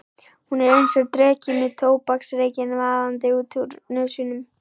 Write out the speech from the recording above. Hún er einsog dreki með tóbaksreykinn vaðandi út úr nösunum.